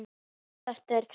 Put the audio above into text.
Bækurnar Hvar er Valli?